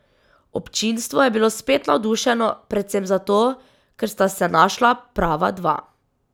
Občinstvo je bilo spet navdušeno, predvsem zato, ker sta se našla prava dva.